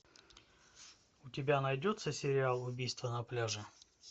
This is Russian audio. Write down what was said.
у тебя найдется сериал убийство на пляже